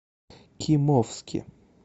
кимовске